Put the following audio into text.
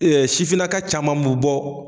E ɛ sifinaka caman be bɔ